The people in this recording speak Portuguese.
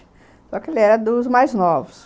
Só que ele era dos mais novos.